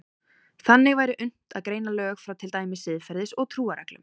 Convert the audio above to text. Þannig væri unnt að greina lög frá til dæmis siðferðis- og trúarreglum.